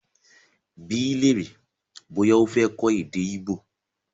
Bí lèrè bọ́yá o fé kọ èdè Igbo!